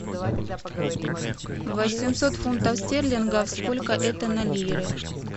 восемьсот фунтов стерлингов сколько это на лиры